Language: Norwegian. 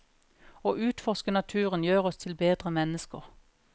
Å utforske naturen gjør oss til bedre mennesker.